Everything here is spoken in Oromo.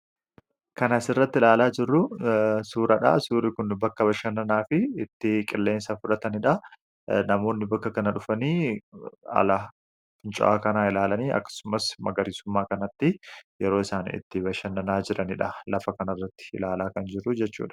Kan asirratti ilaalaa jirru, suuradha. Suurri Kun bakka bashannanaa fi itti qilleensa fudhataniidha. Namoonni bakka kana dhufanii haala fincaa'aa kanaa ilaalanii magariisummaa kanatti yeroo isaan itti bashannanaa jiranidha lafa kana irratti ilaalaa kan jirruu jechuudha.